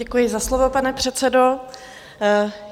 Děkuji za slovo, pane předsedo.